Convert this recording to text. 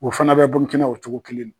O fana bɛ Burkina o cogo kelenna.